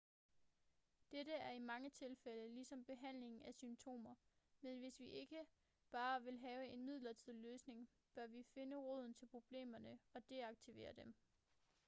dette er i mange tilfælde ligesom behandling af symptomer men hvis vi ikke bare vil have en midlertidig løsning bør vi finde roden til problemerne og deaktivere dem